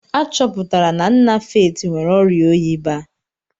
A chọpụtara na nna Faith nwere ọrịa oyi baa.